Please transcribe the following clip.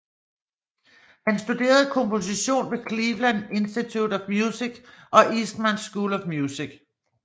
Han studerede komposition på Cleveland Institute of Music og Eastman School of Music